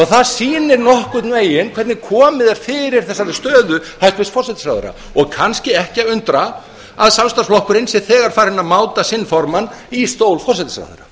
það sýnir nokkurn veginn hvernig komið er fyrir þessari stöðu hæstvirts forsætisráðherra og kannski ekki að undra að samstarfsflokkurinn sé þegar farinn að máta sinn formann í stól forsætisráðherra